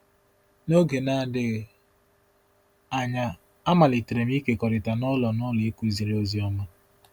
N’oge na -adịghị anya, amalitere m ịkekọrịta n’ụlọ - n’ụlọ ịkụziri ozi ọma.